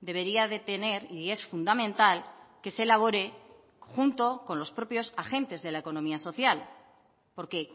debería de tener y es fundamental que se elabore junto con los propios agentes de la economía social porque